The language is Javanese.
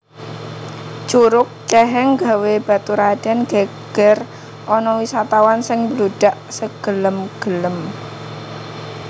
Curug ceheng gawé baturaden geger ana wisatawan sing mbludak segelem gelem